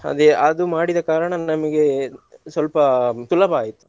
ಅದೇ ಅದು ಮಾಡಿದ ಕಾರಣ ನಮ್ಗೆ ಸ್ವಲ್ಪ ಸುಲಭ ಆಯ್ತು.